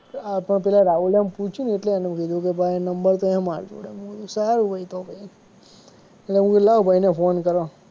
આ પણ પેલા રાહુલિયા ને પૂછ્યું ને એટલે એને કીધું કે ભાઈ નંબર તો હે માર જોડે મેં કીધું સારું ભાઈ તો પછી લાવો ભાઈ ને ફોન કરો.